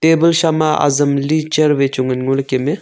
table shama azam ali chair vai chu ngan ngo ley kem ae.